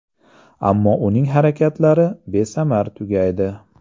Ammo uning harakatlari besamar tugaydi.